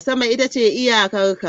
Sama ita ce iyakan ka.